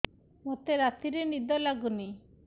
ମୋତେ ରାତିରେ ନିଦ ଲାଗୁନି